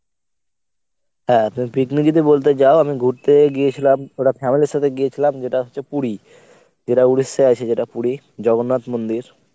হ্যাঁ তুমি picnic যদি বলতে চাও আমি ঘুরতে গিয়েছিলাম পুরা familyর সাথে গিয়েছিলাম যেটা হচ্ছে পুরী। যেটা উড়িষ্যায় আছে যেটা পুরী জগন্নাথ মন্দির।